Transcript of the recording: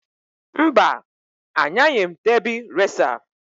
Mba! Anyaghị m debị reca.